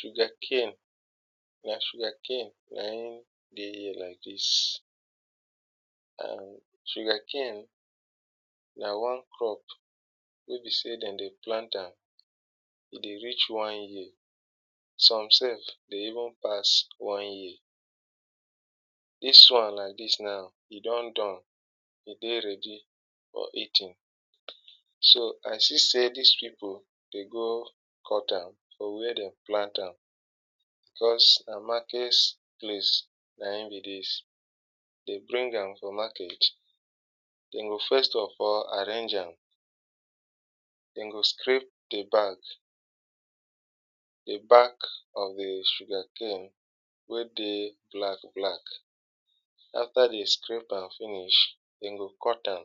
Sugar cane; na sugar cane na im dey here like dis and sugar cane na one crop wey be sey dem dey plant am, e dey reach one year, some sef e dey even pass one year. Dis one like dis now e don don, to dey ready for eating, so I see sey dis people dey go cut am from where dem plant am, cos na market place na im be dis. Dey bring am for market, dem go first of all arrange am, dem go scrape di back, di back of di sugar cane wey dey black black, after dem scrape am finish dem go cut am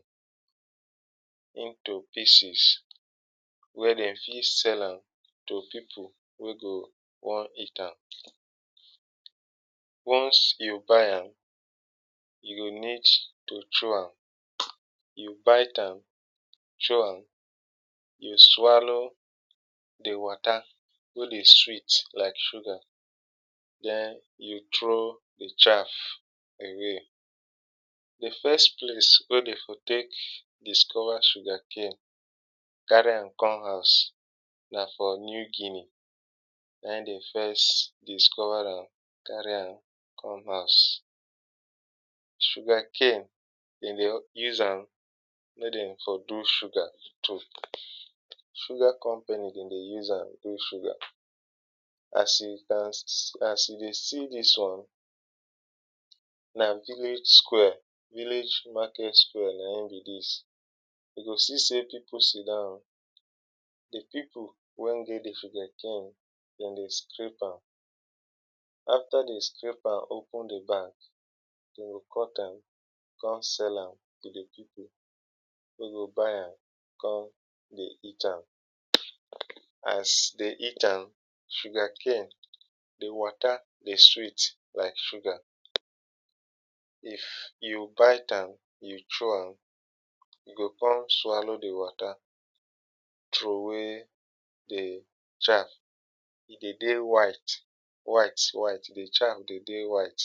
into pieces wen dem fit sell am to people wey go wan eat am. Once you buy am, you go need to shew am, you bite am, c hew am, you swallow di water wey dey sweet like sugar, den you throw di chaff away. Di first place wey dem for take discover sugar cane, carry am come house, na for New Guinea na im dem first discover am, carry am come house. sugar cane dem dey use am make dem for fit do sugar so, sugar company dem dey use am do sugar as you can see, as you dey see dis one, na village square, village market square na im be dis, you go see sey people sit down, di people wen get di s sugar cane dem dey scrape am, after dem scrape am open di back, dem go cut am come sell am, to di people wen go buy am, come dey eat am, as dem eat am, sugar cane di water dey sweet like sugar, if you bite am, you chew am, you go come swallow di water, throw wey di chaff, e dey dey white, white, white, di chaff dey dey white.